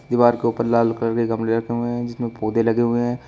दीवार के ऊपर लाल कलर के गमले रखे हुए हैं जिसमें पौधे लगे हुए हैं।